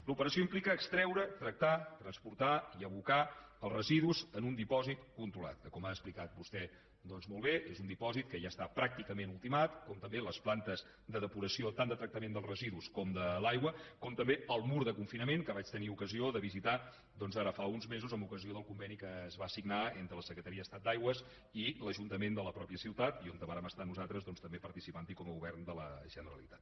l’operació implica extreure tractar transportar i abocar els residus en un dipòsit controlat que com ha explicat vostè doncs molt bé és un dipòsit que ja està pràcticament ultimat com també les plantes de depuració tant de tractament dels residus com de l’aigua com també el mur de confinament que vaig tenir ocasió de visitar doncs ara fa uns mesos en ocasió del conveni que es va signar entre la secretaria d’estat d’aigües i l’ajuntament de la mateixa ciutat i on vàrem estar nosaltres també participant hi com a govern de la generalitat